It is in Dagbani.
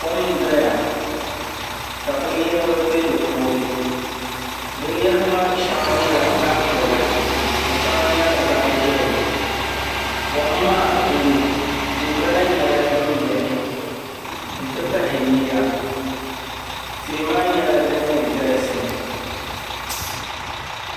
Kom n doya ka binyahari bɛ di puuni binyahari maa shɛŋa nyɛla zaɣ piɛla ka shɛŋa nyɛ zaɣ ʒiɛhi kom maa duli tia gba lahi nyɛla din biɛni n ti pahi yiya tihi maa nyɛla din galisi